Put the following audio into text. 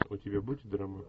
у тебя будет драма